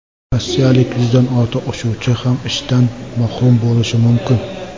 Rossiyalik yuzdan ortiq uchuvchi ham ishdan mahrum bo‘lishi mumkin.